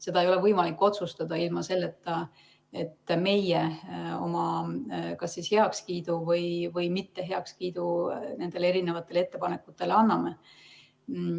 Seda ei ole võimalik otsustada ilma selleta, et meie oma kas heakskiidu või mitteheakskiidu nendele ettepanekutele anname.